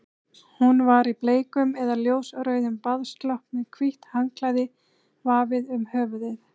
Hún var í bleikum eða ljósrauðum baðslopp með hvítt handklæði vafið um höfuðið.